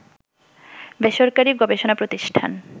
বেসরকারী গবেষণা প্রতিষ্ঠান